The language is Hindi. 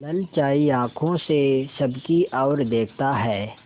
ललचाई आँखों से सबकी और देखता है